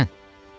Nədən?